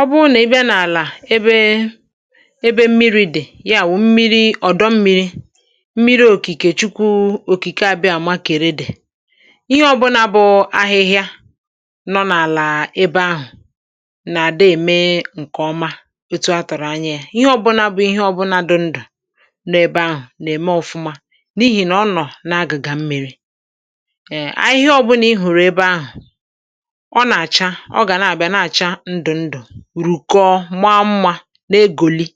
Ọ̀ bụrụ nà ị bịa n’àlà ebe mmiri̇ dị̀, yà wụ̀ mmiri ọ̀dọ mmiri̇, mmiri òkìkè Chukwu Òkìkè, àbịa àmà kèrè dị̀. Ihe ọbụnà bụ ahịhịa nọ n’àlà ebe ahụ̀ nà-àdọ̀, ème ǹkè ọma etu a, tọ̀rọ̀ anya yà. Ihe ọbụnà dụ ndụ̀ nọ ebe ahụ̀ nà-ème ọ̀fụma, n’ihì nà ọ nọ̀ n’agụ̀gà mmi̇ri̇. (ehm)Ebe ahụ̀, ihe ọbụnà ị hụ̀rụ̀ rùkọ̀, maa mma, na-egòli,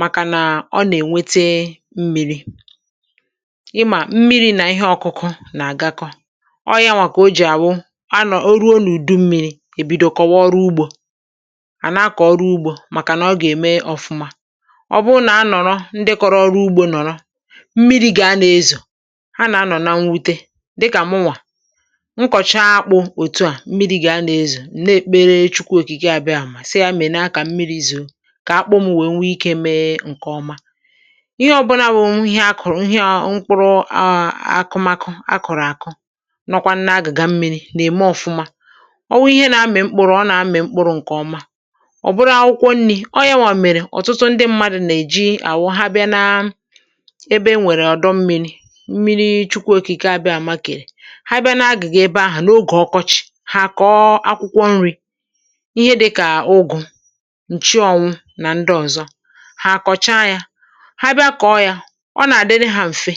màkànà ọ nà-ènwete mmi̇ri̇. Ịmà, mmiri̇ nà ihe ọkụkụ̇ nà-àgakọ. Ọ yànwà kà o jì àwụ. À nọ̀ orùọ n’ùdu mmi̇ri̇, èbidòkọwa ọrụ ugbò, àna-akọ̀ ọrụ ugbò, màkànà ọ gà-ème ọ̀fụma. Ọ bụ nà a nọ̀rọ̀ ndekọrọ̀ ọrụ ugbò. Nọ̀rọ̀ mmiri̇ gà, a nà-ezò, a nà-aṅọ̀ na nwute. Dịkà mụnwà nkọ̀chaa akpụ̇, otu a, mmiri̇ gà, a nà-ezò. Chukwu Òkìkè àbịa àmà, sì yà mèrè n’akà. Mmiri̇ zòo kà akpụm wèe nwee ike, mee ǹkè ọma. Ihe ọ̀bụla bụ̀ nwunye akụ̀rụ̀, nwunye à, mkpụrụ à, akụmakụ a kụ̀rụ̀, àkụ, nọkwanụ n’agị̀gà mmi̇ri̇, nà-ème ọ̀fụma. Ọ nwee ihe nà-amị̀ mkpụrụ, ọ nà-amị̀ mkpụrụ ǹkè ọma. Ọ̀ bụrụ akwụkwọ nri̇, ọ yànwà mèré. um Ọ̀tụtụ ndị mmadụ̀ nà-èji àwụ ha bịa na ebe e nwèrè ọ̀dọ mmi̇ri̇.Mmiri̇ Chukwu Òkìkè àbịa àmà kèrè. Ha bịa na-agị̀gà ebe ahụ̀ n’ogè ọkọchị̇, ha kọọ akwụkwọ nri̇: ǹchi ọnwụ, nà ndị ọzọ̀. Hà kọ̀chà yà, ha bịa kọ̀ọ̀ yà. Ọ nà-àdị̀ne hȧ mfe,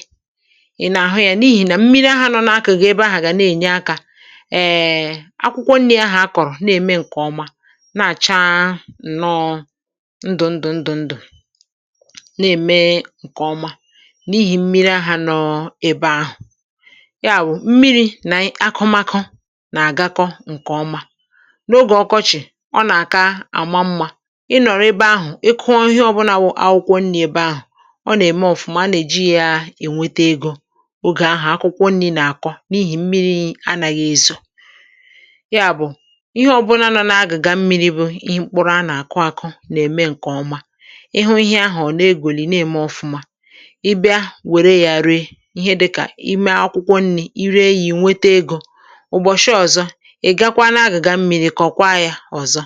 ì nà-àhụ yà, n’ihì nà mmiri̇ ahụ̀ nọọ n’akọ̀gọ̀. Ebe ahụ̀ gà na-ènye akà èè. Akwụkwọ nri̇ ahụ̀ akọ̀rọ̀, na-ème ǹkè ọma, na-àcha, nọ ndụ̀, ndụ̀, ndụ̀, ndụ̀, na-ème ǹkè ọma, n’ihì mmiri̇ ahụ̀ nọ ebe ahụ̀. Yà bụ̀ mmiri̇ nà akọ̀makọ̀ nà-àgakọ̀ ǹkè ọma. Ì nọ̀rọ̀ ebe ahụ̀, ị kụọ ihe ọbụlà bụ n’akwụkwọ nri̇ ebe ahụ̀, ọ nà-ème ọ̀fụma. Nà-èji ya ènwete egò. (hmm)Ogè ahụ̀ akwụkwọ nri̇ nà-àkọ, n’ihì mmiri̇ anàghị̇ ezò. Yà bụ̀ ihe ọbụlà nọ n’agị̀gà mmiri̇, bụ̇ ihe mkpụrụ a nà-àkụ̀, àkụ, nà-ème ǹkè ọma. Ịhụ ihe ahụ̀, ọ̀ na-egwùlì n’ime ọ̀fụma. Ì bịa wèrè yà, ree ihe, dịkà ime akwụkwọ nri̇. Ì ree yà, ènwete egò ǹkè ọma.